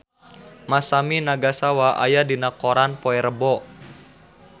Masami Nagasawa aya dina koran poe Rebo